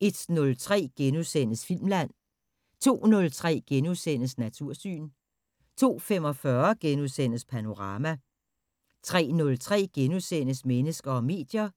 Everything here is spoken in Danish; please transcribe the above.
* 01:03: Filmland * 02:03: Natursyn * 02:45: Panorama * 03:03: Mennesker og medier *